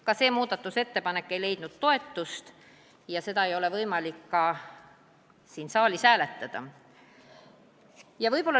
Ka see muudatusettepanek ei leidnud toetust ja seda ei ole võimalik ka siin saalis hääletada.